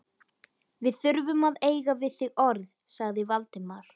Við þurfum að eiga við þig orð- sagði Valdimar.